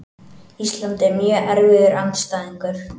Ísland er mjög erfiður andstæðingur.